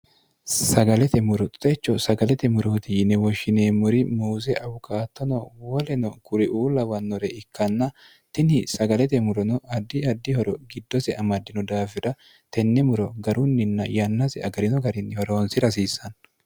sagalete muro techo sagalete murooti yinewoshshineemmuri muuse awukaattono woleno kuri uu lawannore ikkanna tini sagalete murono addi addihoro giddose amaddino daafira tenne muro garunninna yannasi agarino garinnihoroonsi rasiissanno